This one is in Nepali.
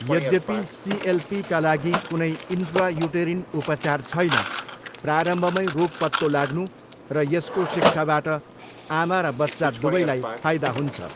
यद्यपि सिएलपीका लागि कुनै इन्ट्रायुटेरिन उपचार छैन, प्रारम्भमै रोग पत्तो लाग्नु र यसको शिक्षाबाट आमा र बच्चा दुवैलाई फाइदा हुन्छ।